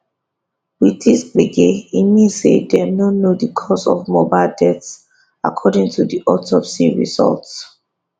wit dis gbege e mean say dem no know di cause of mohbad death according to di autopsy result